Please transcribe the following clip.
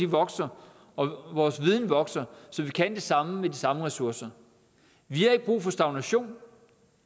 vokser og vores viden vokser så vi kan det samme med de samme ressourcer vi har ikke brug for stagnation